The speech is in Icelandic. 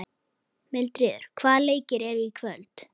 Mildríður, hvaða leikir eru í kvöld?